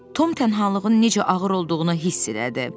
Tom təkliyinin necə ağır olduğunu hiss elədi.